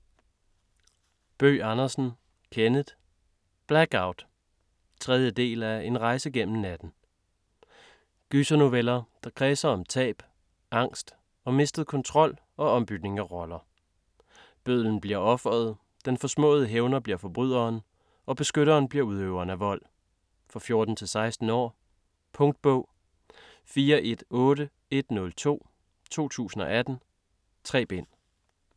Bøgh Andersen, Kenneth: Black out 3. del af En rejse gennem natten. Gysernoveller, der kredser om tab, angst og mistet kontrol og ombytning af roller. Bødlen bliver offeret, den forsmåede hævner bliver forbryderen og beskytteren bliver udøveren af vold. For 14-16 år. Punktbog 418102 2018. 3 bind.